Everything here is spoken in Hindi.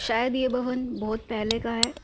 शायद ये भवन बहुत पहले का है ।